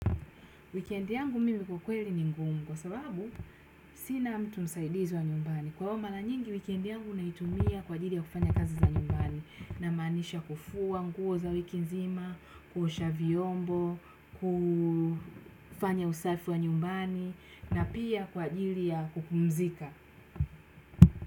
Wikendi yangu mimi kwa kweli ni ngumu kwa sababu sina mtu msaidizi wa nyumbani. Kwa hivo mara nyingi, wikendi yangu naitumia kwa ajili ya kufanya kazi za nyumbani na manisha kufua nguo za wiki nzima, kuosha vyombo, kufanya usafi wa nyumbani na pia kwa ajili ya kupumzika.